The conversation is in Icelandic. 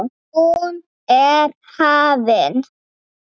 Hún er hafin.